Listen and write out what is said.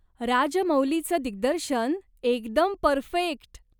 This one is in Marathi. राजमौलींच दिग्दर्शन, एकदम परफेक्ट.